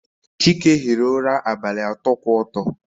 Chike hiri ụra abalị atọ kwụ ọtọ